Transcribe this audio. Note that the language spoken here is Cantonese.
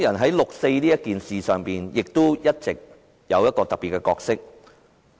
在六四一事上，香港人一直擔當一個特別的角色。